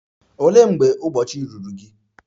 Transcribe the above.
Olee mgbe ụbọchị ruru gị?